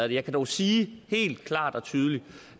jeg kan dog sige helt klart og tydeligt